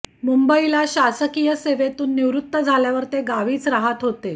मुंबईला शासकीय सेवेतून निवृत्त झाल्यावर ते गावीच रहात होते